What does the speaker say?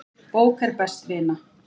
Bók er best vina.